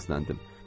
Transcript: Səsləndim.